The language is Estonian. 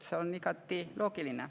See on igati loogiline.